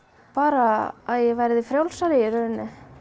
bara að ég verði frjálsari í rauninni